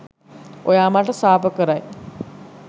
ඔයා මට සාප කරයි